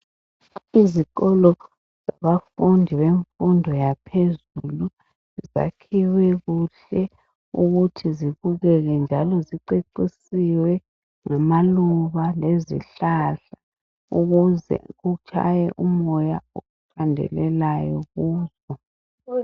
Izikolo zabafundi bemfundo yaphezulu zakhiwe kuhle ukuthi zibukeke njalo zicecisiwe ngamaluba lezihlahla ukuze kutshaye umoya oqandelelayo kubo.